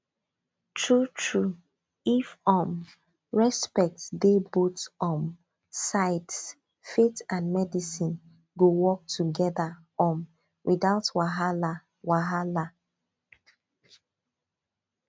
truetrue if um respect dey both um sides faith and medicine go work together um without wahala wahala